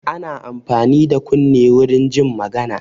Ana amfani da kunne warin jin magana.